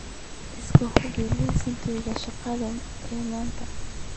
iska hubi liiskayga shaqo ee maanta